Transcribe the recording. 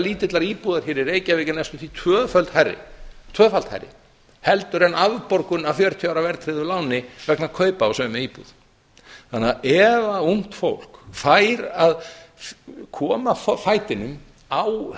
lítillar íbúðar hér í reykjavík er næstum því tvöfalt hærri heldur en afborgun af fjörutíu ára verðtryggðu láni vegna kaupa á sömu íbúð þannig að ef ungt fólk fær að koma fætinum á